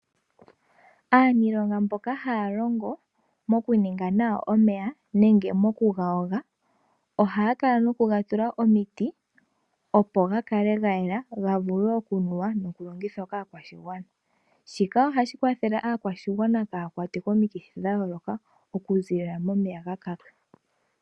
Aaniilonga mboka haya longo moku ninga nawa omeya. Ohaye ga tula omiti opo ga kale ga yela ga vule oku nuwa noku longithwa kaakwashigwana. Shika ohashi kwathele aakwashigwana kaayakwatwe komikithi oku ziilila momeya ga kaka.